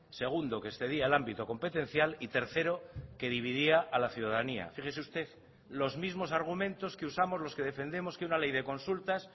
segundo que excedía el ámbito competencial y tercero que dividía a la ciudadanía fíjese usted los mismos argumentos que usamos los que defendemos que una ley de consultas